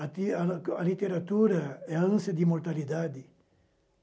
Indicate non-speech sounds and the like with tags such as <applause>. <unintelligible> A literatura é a ânsia de imortalidade.